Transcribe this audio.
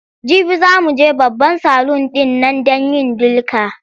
Jibi za mu je babban salun ɗin nan don yin dilka.